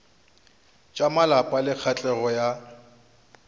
tša malapa le katlego ya